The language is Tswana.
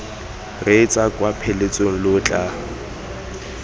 reetsa kwa pheletsong lo tla